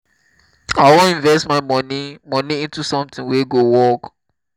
i wan invest my money money into something wey go work